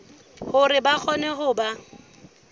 hore ba kgone ho ba